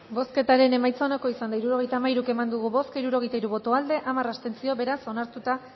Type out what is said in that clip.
bozketaren emaitza onako izan da hirurogeita hamairu eman dugu bozka hirurogeita hiru boto aldekoa hamar abstentzio beraz onartuta